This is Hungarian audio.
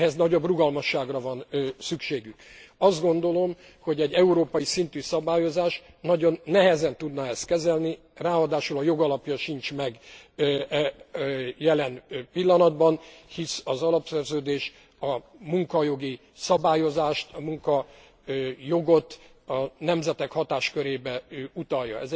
Ehhez nagyobb rugalmasságra van szükségük. Azt gondolom, hogy egy európai szintű szabályozás nagyon nehezen tudná ezt kezelni, ráadásul a jogalapja sincs meg jelen pillanatban, hisz az alapszerződés a munkajogi szabályozást, a munkajogot a nemzetek hatáskörébe utalja.